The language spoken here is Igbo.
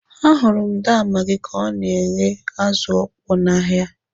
Ahụrụ m daa Magi ka ọ na-ere azụ ọkpọ n'ahịa.